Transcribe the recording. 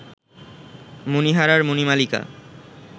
মণিহারার Manimalika